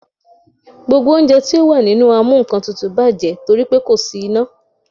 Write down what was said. Gbogbo oúnjẹ tí ó wà nínú amúnkantutù bàjẹ́ torí pe kò sí iná.